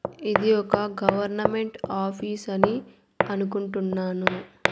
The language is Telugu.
ఇది ఒక గవర్నమెంట్ ఆఫీస్ అని అనుకుంటున్నాను.